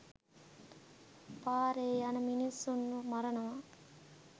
පාරෙ යන මිනිස්සුන්ව මරනවා.